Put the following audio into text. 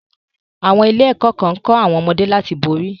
Àwọn ilé-ẹ̀kọ́ kan ń kọ́ àwọn ọmọdé láti borí.